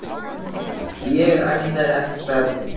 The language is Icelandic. Ég ætlaði ekki að særa þig.